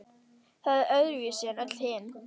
Það er öðruvísi en öll hin,